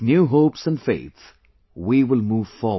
With new hopes and faith, we will move forward